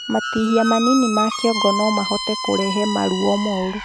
Matihia manini ma kĩongo nomahote kũrehe maruo moru